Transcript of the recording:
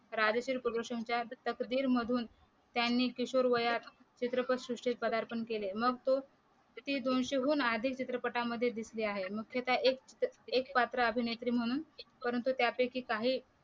राजश्री प्रोडक्शनच्या तकदीर मधून त्यांनी किशोर वयात चित्रपट सृष्टीत पदार्पण केले मग तो दोनशे हून अधिक चित्रपटांमध्ये दिसले आहेत मग ते त्या एक पात्र अभिनेत्री म्हणून परंतु त्यापैकी काही